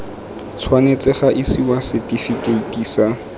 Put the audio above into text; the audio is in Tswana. tshwanetse ga isiwa setifikeiti sa